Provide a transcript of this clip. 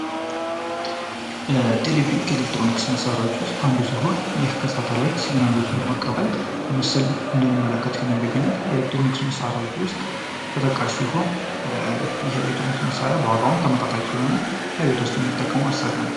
ቴሌቪዥን ከኤሌክትሮኒክስ መሳሪያዎች ውስጥ አንዱ ሲሆን ይህም ከሳተላይት ሲግናል በመቀበል ምስልን እንድንመለከት የሚያደርግልን የኤሌክትሮኒክስ መሳሪያዎች ውስጥ ተጠቃሽ ሲሆን ይህ የኤሌክትሮኒክስ መሳሪያ በዋጋው ተመጣጣኝ የሆነ በቤት ውስጥ የምንጠቀመው መሳሪያ ነው።